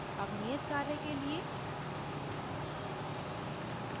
अब नियत कार्य के लिए